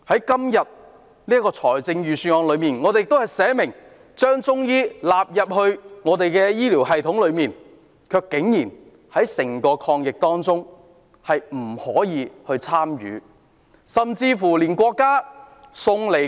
今年的預算案列明已把中醫藥納入本港的醫療系統，但中醫藥卻竟然不可以參與抗疫工作。